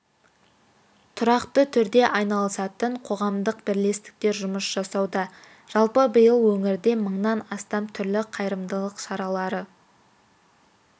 тұрақты түрде айналысатын қоғамдық бірлестіктер жұмыс жасауда жалпы биыл өңірде мыңнан астам түрлі қайырымдылық шаралары